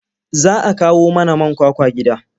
Za a kawo mana man kwakwa gida.